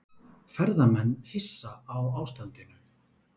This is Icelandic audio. Ferðamenn hissa á ástandinu